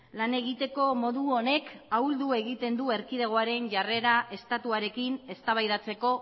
lan egiteko modu honek ahuldu egiten du erkidegoaren jarrera estatuarekin eztabaidatzeko